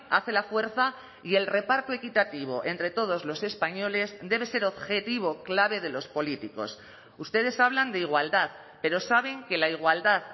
hace la fuerza y el reparto equitativo entre todos los españoles debe ser objetivo clave de los políticos ustedes hablan de igualdad pero saben que la igualdad